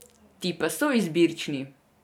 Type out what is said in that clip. Ti pa so izbirčni.